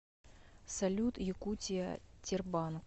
салют якутия тербанк